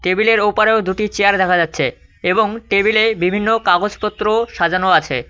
Table -এর ওপারেও দুটি চেয়ার দেখা যাচ্ছে এবং টেবিল -এ বিভিন্ন কাগজপত্রও সাজানো আছে।